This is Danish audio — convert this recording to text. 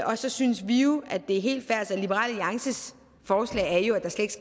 og så synes vi jo at det er helt fair liberal alliances forslag er jo at der slet